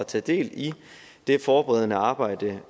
tage del i det forberedende arbejde